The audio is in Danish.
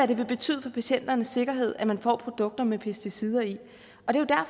det vil betyde for patienternes sikkerhed at man får produkter med pesticider i og det